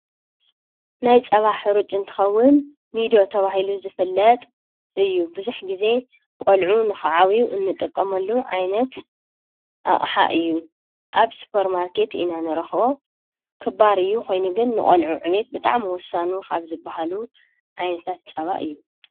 ናይ ፀባ ሕሩጭ እንትኸውን ኒዶ ተባሂሉ ዝፍለጥ እዩ ብዙሕ ግዜ ቆልዑ ንኽዓብዩ እንጥቀመሉ ዓይነት ኣቅሓ እዩ ኣብ ሱፐር ማርኬት ኢና ንረኽቦ ክባር እዩ ኮይኑ ግን ንቖልዑ ዕቤት ብጣዕሚ ውሳኒ ካብ ዝበሃሉ ዓይነታት ፀባ እዩ ።